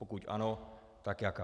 Pokud ano, tak jaká.